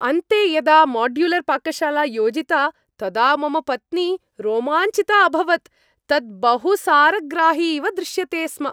अन्ते यदा माड्युलर् पाकशाला योजिता तदा मम पत्नी रोमाञ्चिता अभवत्, तत् बहुसारग्राही इव दृश्यते स्म!